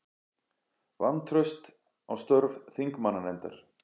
Vantraust á störf þingmannanefndar